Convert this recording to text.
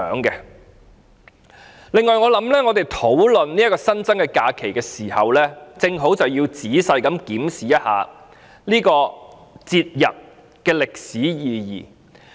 此外，我想我們討論這個新增假期時，也要仔細檢視一下這個節日的歷史意義。